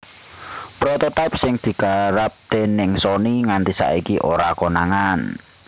Prototype sing digarap dèning Sony nganti saiki ora konangan